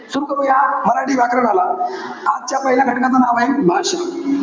सुरु करूया, मराठी व्याकरणाला. आजच्या पहिल्या घटकांचं नाव आहे. भाषा.